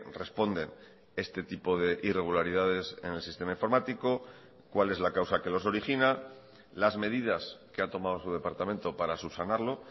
responde este tipo de irregularidades en el sistema informático cuál es la causa que los origina las medidas que ha tomado su departamento para subsanarlo